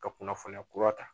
Ka kunnafoniya kura ta